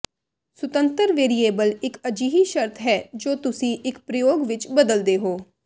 ਸੁਤੰਤਰ ਵੇਰੀਏਬਲ ਇੱਕ ਅਜਿਹੀ ਸ਼ਰਤ ਹੈ ਜੋ ਤੁਸੀਂ ਇੱਕ ਪ੍ਰਯੋਗ ਵਿੱਚ ਬਦਲਦੇ ਹੋ